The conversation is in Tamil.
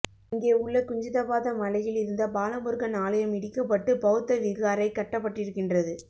இங்கே உள்ள குஞ்சிதபாத மலையில் இருந்த பாலமுருகன் ஆலயம் இடிக்கப்பட்டு பௌத்த விகாரை கட்டப்பட்டிருக்கின்றது